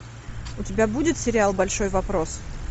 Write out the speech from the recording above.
у тебя будет сериал большой вопрос